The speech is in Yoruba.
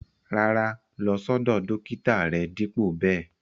Rárá, lọ̀ sọdọ̀ dọkítà rè dípo bè.